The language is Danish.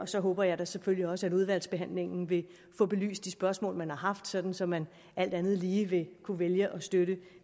så håber jeg selvfølgelig også at udvalgsbehandlingen vil kunne belyse de spørgsmål man har sådan så man alt andet lige vil kunne vælge at støtte